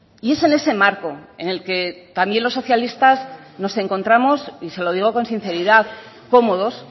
y es en ese marco en el que también los socialistas nos encontramos y se lo digo con sinceridad cómodos